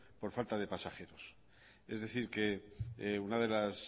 por falta de pasajeros es decir que una de las